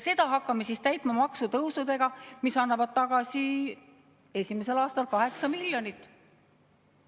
Seda hakkame siis täitma maksutõusudega, mis annavad tagasi esimesel aastal 8 miljonit.